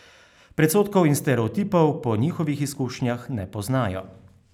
Predsodkov in stereotipov po njihovih izkušnjah ne poznajo.